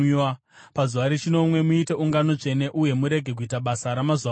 Pazuva rechinomwe muite ungano tsvene uye murege kuita basa ramazuva ose.